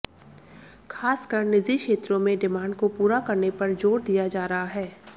खासकर निजी क्षेत्रों में डिमांड को पूरा करने पर जोर दिया जा रहा है